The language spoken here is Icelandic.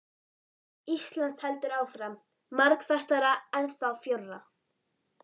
Íslands heldur áfram, margþættara, ennþá frjórra.